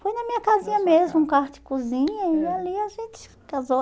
Foi na minha casinha mesmo, na sua casa, ãh, um quarto e cozinha, e ali a gente casou.